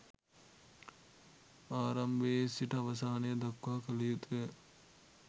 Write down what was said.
ආරම්භයේ සිට අවසානය දක්වා කල යුතු ය.